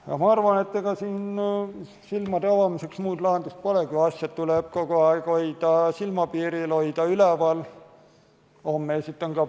Aga ma arvan, et ega silmade avamiseks muud lahendust pole kui see, et asjad tuleb kogu aeg hoida silmapiiril, teema tuleb hoida üleval.